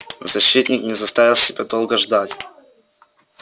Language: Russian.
защитник не заставил себя долго ждать